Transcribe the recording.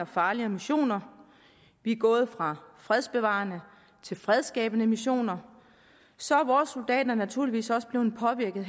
farligere missioner vi er gået fra fredsbevarende til fredsskabende missioner så er vores soldater naturligvis også blevet påvirket